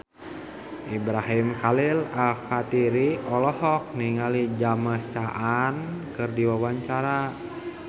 Ibrahim Khalil Alkatiri olohok ningali James Caan keur diwawancara